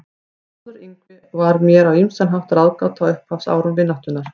Þórður Yngvi var mér á ýmsan hátt ráðgáta á upphafsárum vináttunnar.